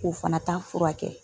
o fana ta furakɛ